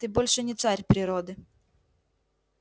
ты больше не царь природы